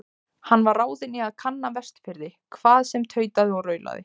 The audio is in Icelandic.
Hann var ráðinn í að kanna Vestfirði, hvað sem tautaði og raulaði.